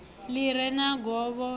ḽi re na govho ḽa